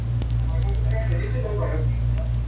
খেলিছিলো বাৰু